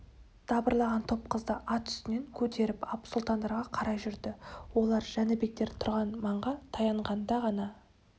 дабырлаған топ қызды ат үстінен көтеріп ап сұлтандарға қарай жүрді олар жәнібектер тұрған маңға таянғанда ғана